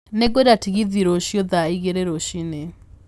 Nĩ ngwenda tegithi rũcio thaa igĩri rucinĩ